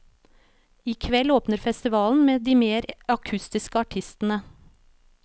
I kveld åpner festivalen med de mer akustiske artistene.